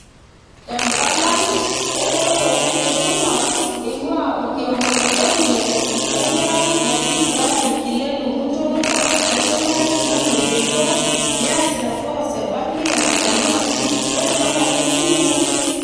Empalai ereteto enkisuma eingwaa orkioma le Kengen enkerai naji Brian Kilelu muntolol naisumare sukuul e JKUAT neasita (Ics)course banking and finance ore nampai e simu ....